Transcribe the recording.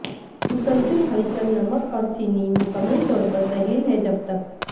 مسلسل ہلچل نمک اور چینی مکمل طور پر تحلیل ہے جب تک